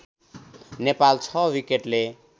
Nepal ६ विकेटले